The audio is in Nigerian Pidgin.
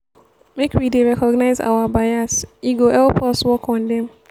make we dey recognize our bias e go help us work on dem.